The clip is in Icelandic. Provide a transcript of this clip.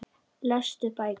Lestu bækur.